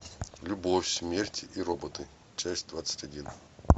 любовь смерть и роботы часть двадцать один